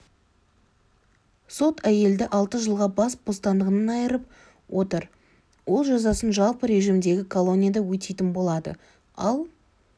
сот әйелді алты жылға бас бостандығынан айырып отыр ол жазасын жалпы режимдегі колонияда өтейтін болады ал